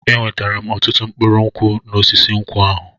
Enwetara m ọtụtụ mkpụrụ nkwụ n'osisi nkwụ ahụ.